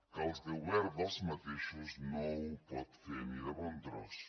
que el govern dels mateixos no ho pot fer ni de bon tros